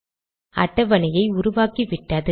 அட்டவணையை உருவாக்கிவிட்டது